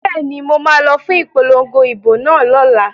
Bẹ́ẹ̀ni, mo ma lọ fún ipolongo ìbò náà lọ́la